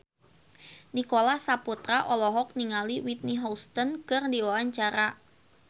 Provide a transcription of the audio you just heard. Nicholas Saputra olohok ningali Whitney Houston keur diwawancara